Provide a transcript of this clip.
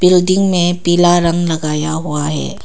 Building में पीला रंग लगाया हुआ है।